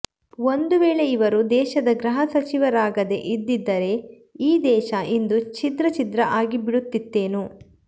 ಒಂದು ವೇಳೆ ಇವರು ದೇಶದ ಗೃಹ ಸಚಿವರಾಗದೇ ಇದ್ದಿದ್ದರೆ ಈ ದೇಶ ಇಂದು ಛಿದ್ರ ಛಿದ್ರ ಆಗಿಬಿಡುತ್ತಿತ್ತೇನೊ